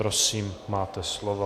Prosím, máte slovo.